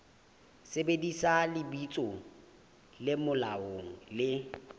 sebedisa lebitso le molaong le